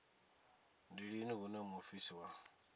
ndi lini hune muofisi wa